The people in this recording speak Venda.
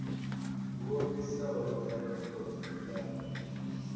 wo fhisaho ḓaka ḽoṱhe ḽa